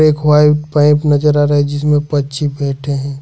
एक white pipe नजर आ रहा है जिसमें पक्षी बैठे हैं।